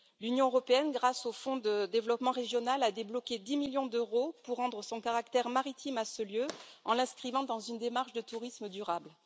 L'Union européenne, grâce au Fonds de développement régional, a débloqué 10 millions d'euros pour rendre son caractère maritime à ce lieu, en l'inscrivant dans une démarche de tourisme durable.